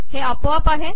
हे आपोआप आहे